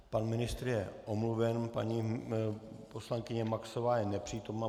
Pan ministr je omluven, paní poslankyně Maxová je nepřítomna.